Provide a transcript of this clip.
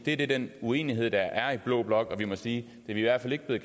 er den uenighed der er i blå blok og vi må sige at det i hvert fald ikke er